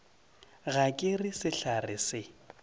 ga ke re sehlare se